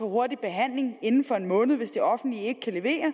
hurtig behandling inden for en måned hvis det offentlige ikke kan levere